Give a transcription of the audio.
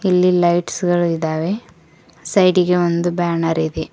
ಇಲ್ಲಿ ಲೈಟ್ಸ್ ಗಳು ಇದಾವೆ ಸೈಡಿಗೆ ಒಂದು ಬ್ಯಾನರ್ ಇದೆ.